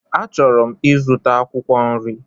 Achọrọ m ịzụta akwụkwọ nri.